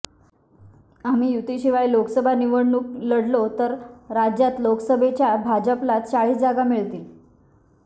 आम्ही युतीशिवाय लोकसभा निवडणूक लढलो तर राज्यात लोकसभेच्या भाजपला चाळीस जागा मिळतील